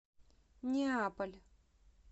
неаполь